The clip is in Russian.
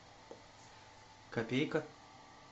копейка